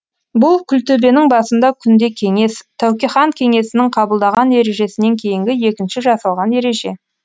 бұл күлтөбенің басында күнде кеңес тәуке хан кеңесінің қабылдаған ережесінен кейінгі екінші жасалған ереже